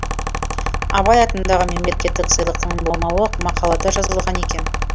абай атындағы мемлекеттік сыйлықтың болмауы мақалада жазылған екен